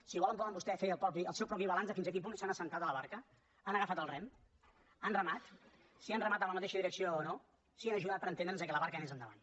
si volen poden vostès fer el seu propi balanç de fins a quin punt s’han assegut a la barca han agafat el rem han remat si han remat en la mateixa direcció o no si han ajudat per entendre’ns que la barca anés endavant